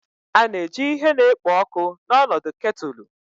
A na-eji ihe na-ekpo ọkụ n'ọnọdụ ketulu